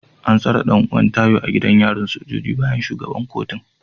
An tsare dan’uwan Tayo a gidan yarin sojoji bayan shugaban kotun